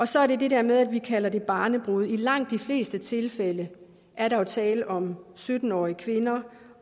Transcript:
så er der det der med at vi kalder det barnebrude i langt de fleste tilfælde er der jo tale om sytten årig kvinder